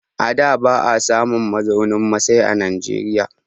A da ba a samun mazaunin masai a Najeriya.